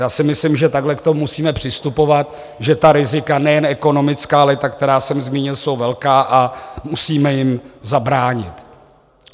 Já si myslím, že takto k tomu musíme přistupovat, že ta rizika nejen ekonomická, ale i ta, která jsem zmínil, jsou velká a musíme jim zabránit.